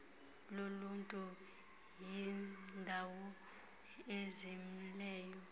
loluntu yindawo ezimeleyo